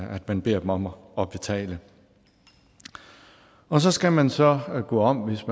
at man beder dem om at betale og så skal man så gå om hvis